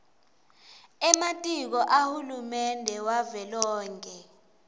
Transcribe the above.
ematiko ahulumende wavelonkhe